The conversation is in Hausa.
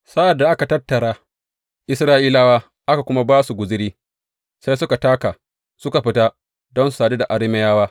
Sa’ad da aka tattara Isra’ilawa, aka kuma ba su guzuri, sai suka taka suka fita don su sadu da Arameyawa.